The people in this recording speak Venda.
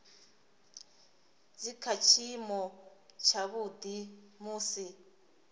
dzi kha tshiimo tshavhuḓi musi